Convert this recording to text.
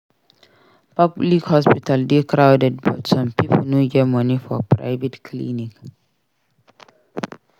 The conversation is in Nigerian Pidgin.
Public hospital dey crowded but some pipo no get money for private clinic.